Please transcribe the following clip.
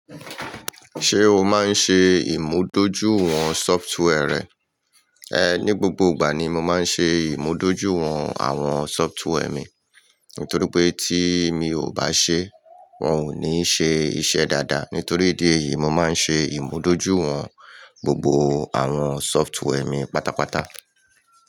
Ṣé o máa ń ṣe ìmúdójúìwọ̀n software rẹ? Ehn, ní gbogbo ìgbà ni mo máa ń ṣe ìmúdójúìwọ̀n àwọn software mi, nítorí pé tí mi ò bá ṣe, wọn ò ní ṣe iṣẹ́ dáadáa. Nítorí ìdí èyí, mo máa ń ṣe ìmúdójúìwọ̀n gbogbo àwọn software mi pátápátá.